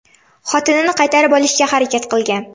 xotinini qaytarib olishga harakat qilgan.